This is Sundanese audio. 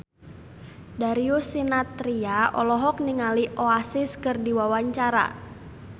Darius Sinathrya olohok ningali Oasis keur diwawancara